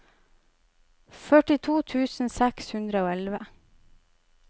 førtito tusen seks hundre og elleve